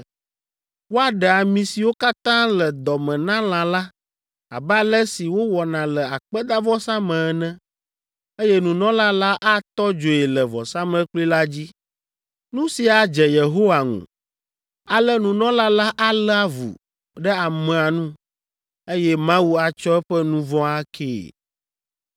Woaɖe ami siwo katã le dɔ me na lã la, abe ale si wowɔna le akpedavɔsa me ene, eye nunɔla la atɔ dzoe le vɔsamlekpui la dzi. Nu sia adze Yehowa ŋu. Ale nunɔla la alé avu ɖe amea nu, eye Mawu atsɔ eƒe nu vɔ̃ akee.